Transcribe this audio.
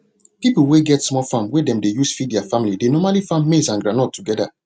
pipo wey get small farm wey dem dey use to feed their family dey normally farm maize and groundnut together